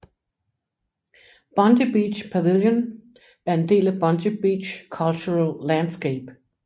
Bondi Beach Pavilion er en del af Bondi Beach Cultural Landscape